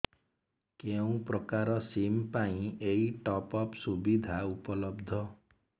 କେଉଁ ପ୍ରକାର ସିମ୍ ପାଇଁ ଏଇ ଟପ୍ଅପ୍ ସୁବିଧା ଉପଲବ୍ଧ